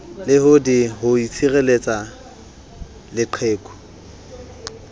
le d ho tshireletsa leqheku